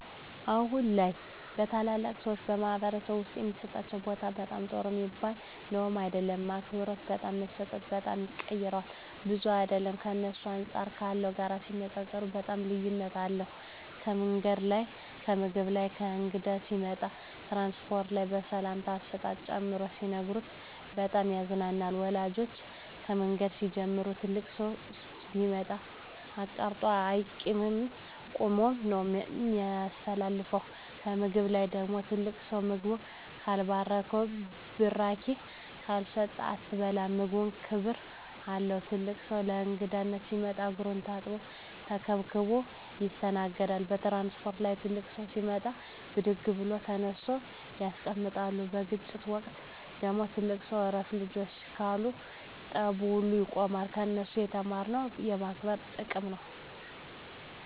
አሁን ላይ ለተላላቅ ሰዎች በማኅበረሰብ ዉስጥ የሚሠጣቸው ቦታ በጣም ጥሩ ሚባል ነዉም አይደለም አክብሮት በጣም መሰጠት በጣም ይቀረዋል ብዙም አይደለም በእነሱ አንጻር ካለው ጋር ሲነጻጽጽሩት በጣም ልዩነት አለዉ ከምንገድ ላይ ከምግብ ላይ ከእንግዳ ሲመጣ ከትራንስፖርት ላይ ከሰላምታ አሰጣጥ ጨምሮ ሲነግሩን በጣም ያሳዝናል ወላጆቻችን ከምንገድ ሲንጀምሩ ትልቅ ሠው ሲመጣ አቃርጦ አይቂድም ቁመ ነው ምታሳልፈው ከምግብ ላይ ደግሞ ትልቅ ሰው ምግቡን ካልባረከዉና ብራቂ ካልሰጠ አትበላም ምግቡም ክብር አለው ትልቅ ሰው ለእንግዳነት ሲመጣ እግሩን ታጥቦ ተከብረው ይስተናገዳሉ ከትራንስፖርት ላይ ትልቅ ሰው ሲመጣ ብድግ ብለው ተነስተው ያስቀምጣሉ በግጭት ወቅት ደግሞ ትልቅ ሰው እረፍ ልጆቸ ካሉ ጠቡ ውላ ያቆማሉ ከነሱ የተማርኩት የማክበር ጥቅም ነው